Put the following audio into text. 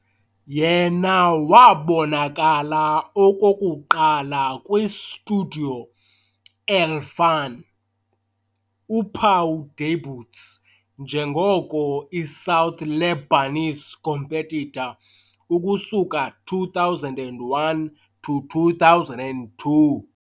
Yena wabonakala okokuqala kwi - Studio El-Fan uphawu debuts njengoko i - South Lebanese competitor ukusuka 2001 to 2002.